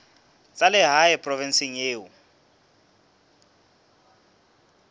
tsa lehae provinseng eo o